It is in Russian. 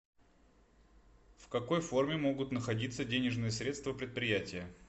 в какой форме могут находиться денежные средства предприятия